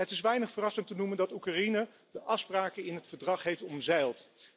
Het is weinig verrassend te noemen dat Oekraïne de afspraken in het verdrag heeft omzeild.